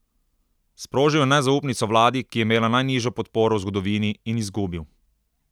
Sprožil je nezaupnico vladi, ki je imela najnižjo podporo v zgodovini, in izgubil.